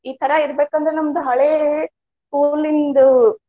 ಈ ತರಾ ಇರ್ಬೇಕ ಅಂದ್ರ ನಮ್ದ ಹಳೆ school ಇಂದು.